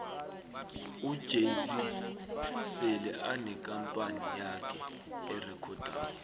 ujay zee sele anekampani yakhe erekhodako